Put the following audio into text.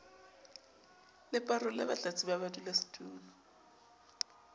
le parole batlatsi ba badulasetulo